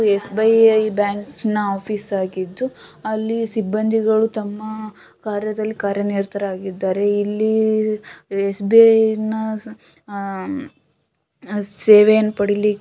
SBI. ಬ್ಯಾಂಕಿನ office ಆಗಿದ್ದು ಅಲ್ಲಿ ಸಿಬ್ಬಂದಿಗಳು ತಮ್ಮ ಕಾರ್ಯದಲ್ಲಿ ಕಾರ್ಯನಿರತರಾಗಿದ್ದಾರೆ. ಇಲ್ಲಿ ಎಸ್.ಬಿ.ಐ. ನ ಸೇವೆಯನ್ನು ಪಡೆಯಲಿ --